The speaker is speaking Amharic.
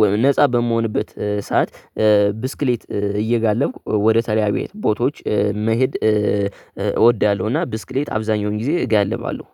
ወ ነፃ በምሆንበት ሰዓት ብስክሌት እየጋለብኩ ወደተለያዩ ቦታዎች መሄድ እወዳለሁ። እና ብስክሌት አብዛኛውን ጊዜ እጋልባለሁ